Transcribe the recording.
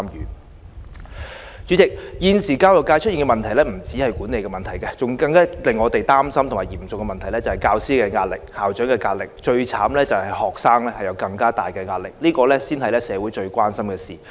代理主席，現時教育界出現的問題不止是管理問題，我們更擔心的嚴重問題是教師有壓力，校長有壓力，最慘是學生有更大的壓力，這才是社會最關心的事。